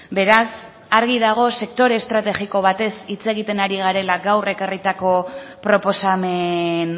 beraz argi dago sektore estrategiko batez hitz egiten ari garela gaur ekarritako proposamen